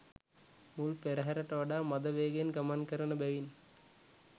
මුල් පෙරහරට වඩා මඳ වේගයෙන් ගමන් කරන බැවින්